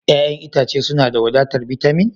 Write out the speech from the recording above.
Ya'yan itace suna da wadatar bitamin?